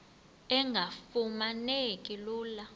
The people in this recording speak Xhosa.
engafuma neki lula